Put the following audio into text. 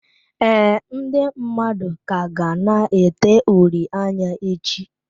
Ee, ndị mmadụ ka ga na-ete uri anya echi.